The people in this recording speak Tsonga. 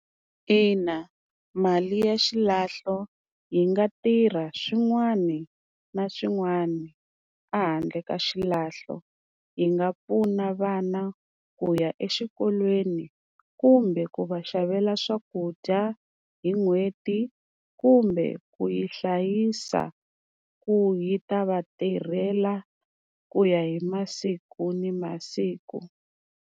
Ina mali ya xilahlo yi nga tirha swin'wani na swin'wani a handle ka xilahlo, yi nga pfuna vana ku ya exikolweni kumbe ku va xavela swakudya hi n'hweti kumbe ku yi hlayisa ku yi ta va tirhela ku ya hi masiku ni masiku.